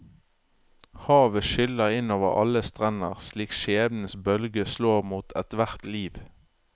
Havet skyller inn over alle strender slik skjebnens bølger slår mot ethvert liv.